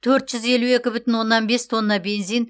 төрт жүз елу екі бүтін оннан бес тонна бензин